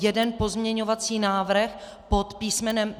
Jeden pozměňovací návrh pod písm.